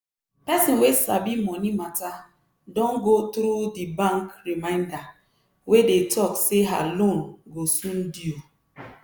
person wey sabi money matter don go through di bank reminder wey dey talk say her loan go soon due.